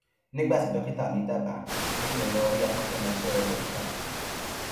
nígbà tí dókítà mi dábàá pé kí n lọ rí akọṣẹmọṣẹ dókítà kan